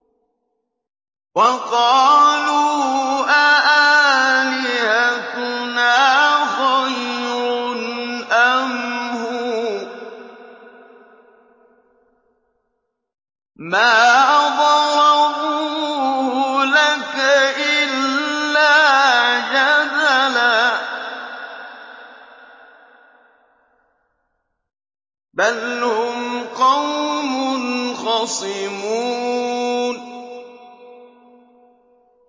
وَقَالُوا أَآلِهَتُنَا خَيْرٌ أَمْ هُوَ ۚ مَا ضَرَبُوهُ لَكَ إِلَّا جَدَلًا ۚ بَلْ هُمْ قَوْمٌ خَصِمُونَ